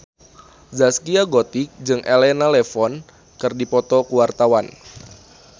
Zaskia Gotik jeung Elena Levon keur dipoto ku wartawan